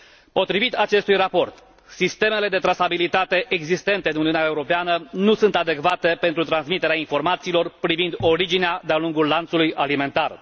Potrivit acestui raport, sistemele de trasabilitate existente în Uniunea Europeană nu sunt adecvate pentru transmiterea informațiilor privind originea de a lungul lanțului alimentar.